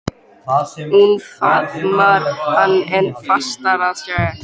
Hún faðmar hann enn fastar að sér.